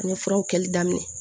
An ye furaw kɛli daminɛ